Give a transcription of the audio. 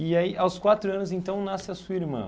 E aí aos quatro anos então nasce a sua irmã.